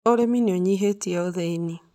Ũrĩmi nĩ ũnyihĩtie ũthĩni